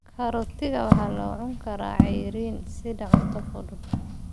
Karootiga waxaa la cuni karaa cayriin sida cunto fudud.